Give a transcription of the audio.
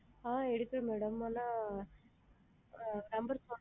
ஆ எடுப்பேன் madam ஆனா! ஆ number போ,